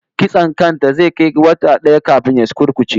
Kitson kan ta zai kai wata daya kafin ya sukurkuce